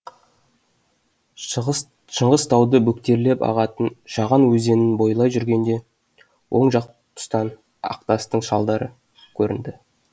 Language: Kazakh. шыңғыс тауды бөктерлеп ағатын шаған өзенін бойлай жүргенде оң жақ тұстан ақтастың жалдары көрінді